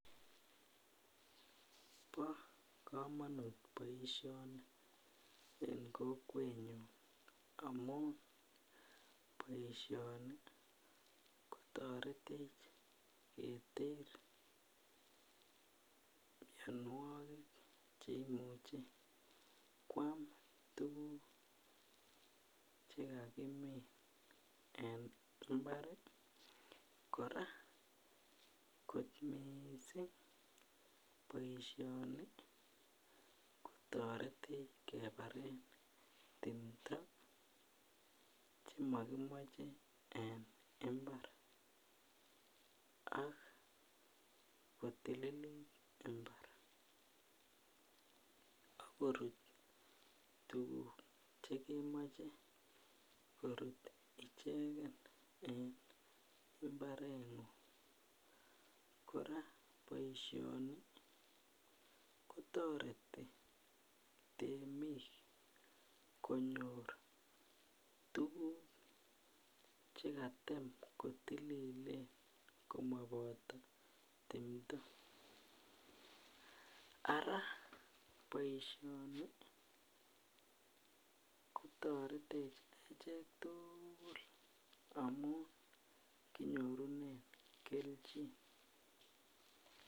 Bo komonut boishoni en kokwenyun amun boishoni kotoretech keter mionwokik cheimuche kwam tukuk chekakimin en imbari . Koraa kot missing boishoni kotoretech kebaren timdo chemokimoche en imbar ak kotililit imbar ak korut tukuk chekemoche korut ichekeni en imbarengung. Koraa boishoni kotoretin temik konyor tukuk chekatem kotililen komoboto timdo, Ara boishoni kotoretech echek tukul amun konyorunen keljin.